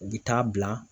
U bɛ taa bila